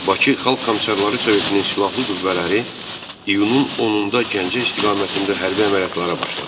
Bakı Xalq Komissarları Sovetinin silahlı qüvvələri iyunun 10-da Gəncə istiqamətində hərbi əməliyyatlara başladı.